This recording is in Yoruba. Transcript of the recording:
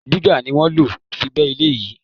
Diga ni wọ́n lo fi gbé ilẹ̀ yìí.